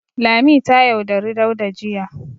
Lami ta yaudari Dauda jiya.